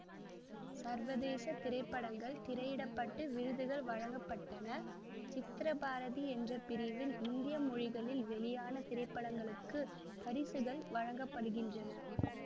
சர்வதேச திரைப்படங்கள் திரையிடப்பட்டு விருதுகள் வழங்க பட்டன சித்ரபாரதி என்ற பிரிவில் இந்திய மொழிகளில் வெளியான திரைப்படங்களுக்கு பரிசுகள் வழங்க படுகின்றன